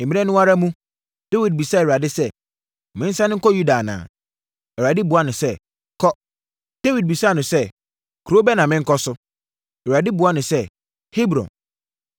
Mmerɛ no ara mu, Dawid bisaa Awurade sɛ, “Mensane nkɔ Yuda anaa?” Awurade buaa no sɛ, “Kɔ.” Dawid bisaa no sɛ, “Kuro bɛn na menkɔ so?” Awurade buaa no sɛ, “Hebron.”